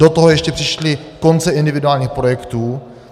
Do toho ještě přišly konce individuálních projektů.